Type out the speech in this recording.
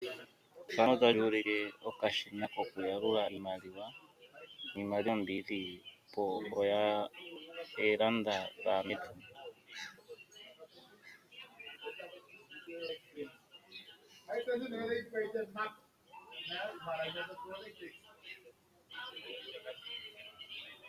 Okashina koku yalula iimaliwa , mongashingeyi aantu kaya longawe nuudhigu oku yalula iimaliwa komake, ohaya longitha owala okashina nohashi endelele oku yalula noonkondo